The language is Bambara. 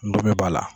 Ndom'a la